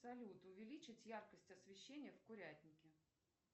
салют увеличить яркость освещения в курятнике